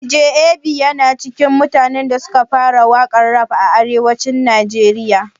Dj Ab yana cikin mutanen da suka fara waƙan rap a arewacin najeriya